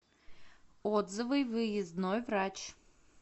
отзывы выездной врач